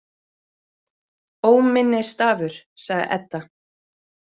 Óminnisstafur, sagði Edda.